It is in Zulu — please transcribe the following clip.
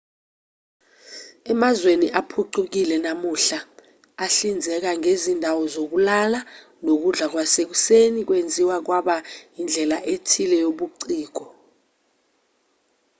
emazweni aphucukile namuhla ahlinzeka ngezindawo zokulala nokudla kwasekuseni kwenziwa kwaba indlela ethile yobuciko